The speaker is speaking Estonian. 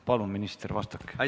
Palun, minister, vastake!